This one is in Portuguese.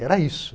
Era isso.